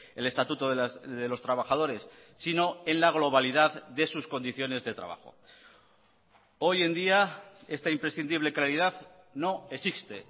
el estatuto de los trabajadores sino en la globalidad de sus condiciones de trabajo hoy en día esta imprescindible claridad no existe